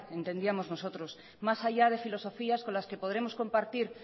entendíamos nosotros más allá de filosofías con las que podremos compartir